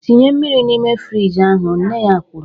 "Tinye mmiri n'ime frijị ahụ" nne ya kwuru